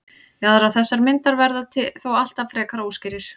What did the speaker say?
jaðrar þessarar myndar verða þó alltaf frekar óskýrir